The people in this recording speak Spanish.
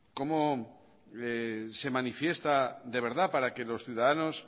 cómo se manifiesta de verdad para que los ciudadanos